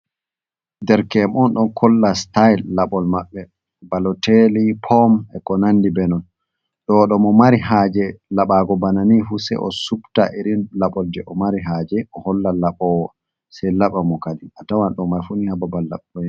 Dereke'en on, ɗon kolla sitayel laɓol maɓɓe baloteeli, pom e konandi benon. Ɗoɗo mo mari haaje laɓaago bana ni fu, sey o subta iri laɓol jey o mari haaje o holla laɓoowo, sey laɓa mo. Kadin a tawan ɗo may fu ni haa babal laɓɓol.